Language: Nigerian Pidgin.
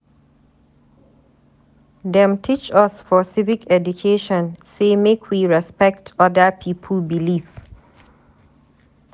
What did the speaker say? Dem teach us for civic education sey make we respect other pipu belief.